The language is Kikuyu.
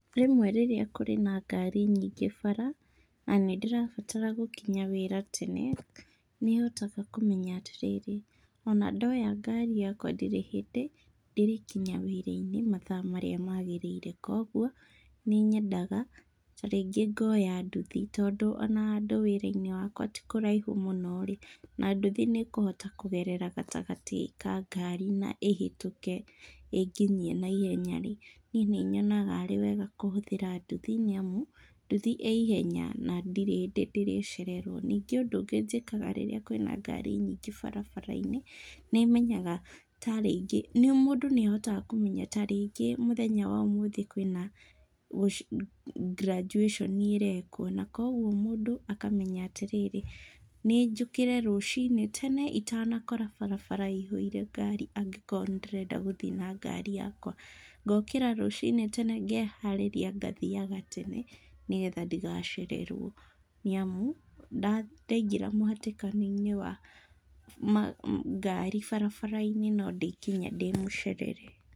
Rĩmwe rĩrĩa kũrĩ na ngari nyingĩ bara, na nĩndĩrabatra gũkinya wĩra tene, nĩhotaga kũmenya atĩrĩrĩ, ona ndoya ngari yakwa ndirĩ hĩndĩ ndĩrĩkinya wĩra-inĩ mathaa marĩa magĩrĩire, kuoguo nĩnyendaga ta rĩngĩ ngoya nduthi tondũ ona handũ wĩra-inĩ wakwa ti kũraihu mũno-rĩ, na nduthi nĩĩkũhota kũgerera gatagatĩ ka ngari na ĩhĩtũke ĩnginyie naihenya-rĩ, niĩ nĩ nyonaga arĩ wega kũhũthĩra nduthi nĩamu, nduthi ĩ ihenya na ndirĩ hĩndĩ ndĩrĩcererwo. Ningĩ ũndũ ũngĩ njĩkaga rĩrĩa kwĩna ngari nyingĩ barabara-inĩ, nĩmenyaga ta rĩngĩ, mũndũ nĩahotaga kũmenya ta rĩngĩ mũthenya wa ũmũthĩ kwĩna graduation ĩrekwo na kuoguo mũndũ akamenya atĩrĩrĩ, nĩnjũkĩre rũcinĩ tene itanakora barabara ĩihũire ngari angĩkorwo nĩndĩrenda gũthiĩ na ngari yakwa. Ngokĩra rũcinĩ tene, ngeharĩria ngathiaga tene nĩgetha ndigacererwo nĩamu, ndaingĩra mũhatĩkano-inĩ wa ngari barabara-inĩ no ndĩkinya ndĩmũcerere.